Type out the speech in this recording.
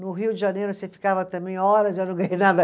No Rio de Janeiro você ficava também horas e eu não ganhei nada.